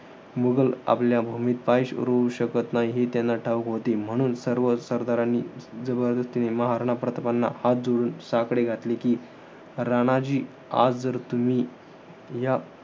मुघल आपल्या भूमीत पाय रोवू शकत नाही. हे त्यांना ठाऊक होत. म्हणून सर्व सरदारांनी जबरदस्तीने महाराणा प्रतापांना हात जोडून साकडे घातले कि, राणाजी आज जर तुम्ही या,